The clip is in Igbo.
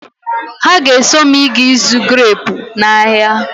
Ha ga-eso m ịga ịzụ greepu n'ahia.